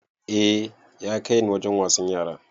A ya kaini Wajen wasan yara